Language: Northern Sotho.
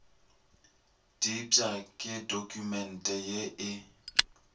diepša ke dokumente ye e